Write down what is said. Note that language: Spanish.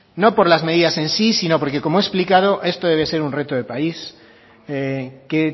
no por las medias en sí sino porque como he explicado esto debe ser un reto de país que